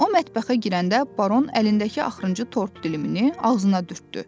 O mətbəxə girəndə Baron əlindəki axırıncı tort dilimini ağzına dürtdü.